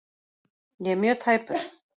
Ég er mjög tæpur.